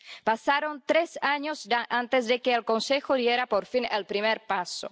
Pasaron tres años antes de que el Consejo diera por fin el primer paso.